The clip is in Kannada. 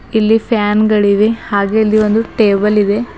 ಇಲ್ಲಿ ಫ್ಯಾನ್ ಗಳಿವೆ ಹಾಗೆ ಇಲ್ಲಿ ಒಂದು ಟೇಬಲ್ ಇದೆ.